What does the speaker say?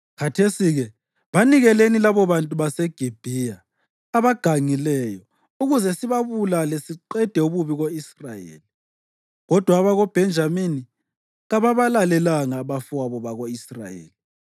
Khathesi-ke, banikeleni labobantu baseGibhiya abagangileyo ukuze sibabulale siqede ububi ko-Israyeli. ” Kodwa abakoBhenjamini kababalalelanga abafowabo bako-Israyeli.